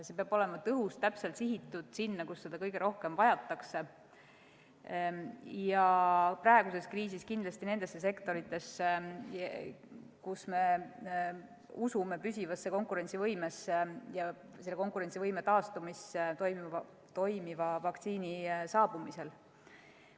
See peab olema tõhus, täpselt sihitud sinna, kus seda kõige rohkem vajatakse – praeguses kriisis kindlasti nendesse sektoritesse, kus me usume püsivasse konkurentsivõimesse ja selle konkurentsivõime taastumisse toimiva vaktsiini saabumisel.